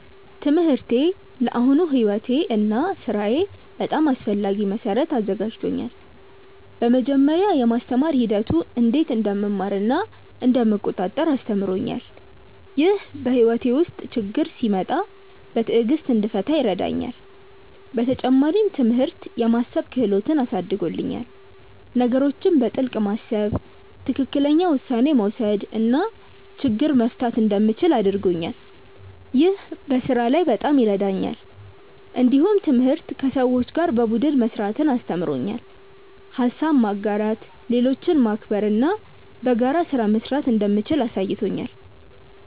ትምህርቴ ለአሁኑ ሕይወቴ እና ሥራዬ በጣም አስፈላጊ መሠረት አዘጋጅቶኛል። በመጀመሪያ፣ የማስተማር ሂደቱ እንዴት እንደምማር እና እንደምቆጣጠር አስተምሮኛል። ይህ በሕይወቴ ውስጥ ችግኝ ሲመጣ በትዕግሥት እንድፈታ ይረዳኛል። በተጨማሪም፣ ትምህርት የማሰብ ክህሎትን አሳድጎልኛል። ነገሮችን በጥልቅ ማሰብ፣ ትክክለኛ ውሳኔ መውሰድ እና ችግኝ መፍታት እንደምችል አድርጎኛል። ይህ በስራ ላይ በጣም ይረዳኛል። እንዲሁም ትምህርት ከሰዎች ጋር በቡድን መስራትን አስተምሮኛል። ሀሳብ ማጋራት፣ ሌሎችን ማክበር እና በጋራ ስራ መስራት እንደምችል አሳይቶኛል።